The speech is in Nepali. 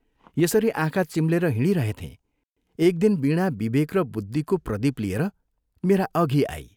यसरी आँखा चिम्लेर हिंडिरहेथें, एक दिन वीणा विवेक र बुद्धिको प्रदीप लिएर मेरा अघि आई।